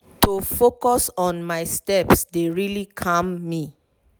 to focus on my steps dey really calm me.